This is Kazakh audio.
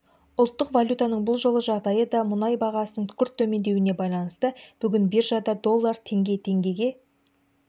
ұлттық валютаның бұл жолғы жағдайы да мұнай бағасының күрт төмендеуіне байланысты бүгін биржада доллар теңге теңгеге